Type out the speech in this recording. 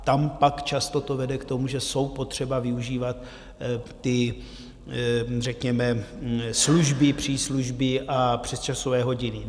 Tam pak to často vede k tomu, že jsou potřeba využívat ty řekněme služby, příslužby a přesčasové hodiny.